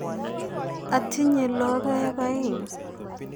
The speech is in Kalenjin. Atinye logeok aeng'.